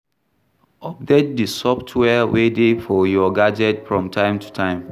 Update di software wey dey for your gadget from time to time